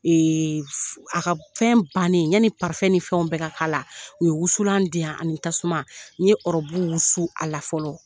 a ka fɛn bannen yani ni fɛnw bɛɛ ka k'a la u ye wusulan di yan ani tasuma n ye ɔrɔbu wusu a la fɔlɔ.